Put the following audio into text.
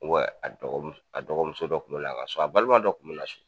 uwɛ a dɔgɔmu a dɔgɔmuso dɔ kun be na a ka so a balima dɔ kun be na a ka so